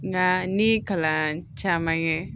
Nka n'i ye kalan caman kɛ